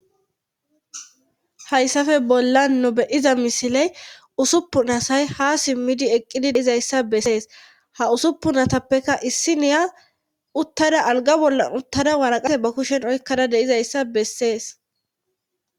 hayssafe bollan nu beyiza misiley usuppun asay ha simmidi eqqidi deizayssa bessees ha usuppun atappekka issi niya uttada alga bollan uttada waraqase ba kushen oykkada deizayssa bessees